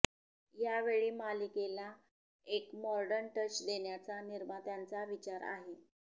यावेळी मालिकेला एक मॉडर्न टच देण्याचा निर्मात्यांचा विचार आहे